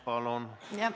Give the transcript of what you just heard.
Palun!